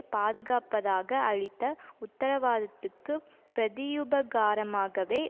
பாதுகாப்பதாக அளித்த உத்தரவாதத்துக்கு பிரதியுபகாரமாகவே